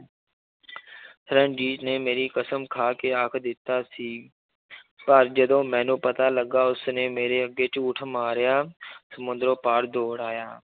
ਰਣਜੀਤ ਨੇ ਮੇਰੀ ਕਸ਼ਮ ਖਾ ਕੇ ਆਖ ਦਿੱਤਾ ਸੀ ਪਰ ਜਦੋਂ ਮੈਨੂੰ ਪਤਾ ਲੱਗਾ ਉਸਨੇ ਮੇਰੇ ਅੱਗੇ ਝੂਠ ਮਾਰਿਆ ਸਮੁੰਦਰੋਂ ਪਾਰ ਦੌੜ ਆਇਆ